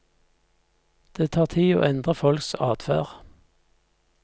Det tar tid å endre folks adferd.